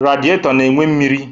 Rediato na-enwe mmiri